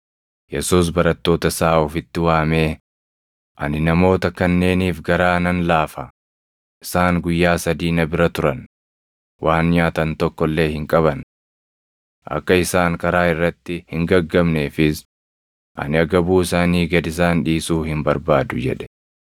Yesuus barattoota isaa ofitti waamee, “Ani namoota kanneeniif garaa nan laafa; isaan guyyaa sadii na bira turan; waan nyaatan tokko illee hin qaban. Akka isaan karaa irratti hin gaggabneefis ani agabuu isaanii gad isaan dhiisuu hin barbaadu” jedhe.